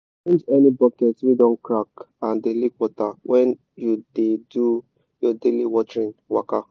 change any bucket wey don crack and dey leak water when you dey do your daily watering waka.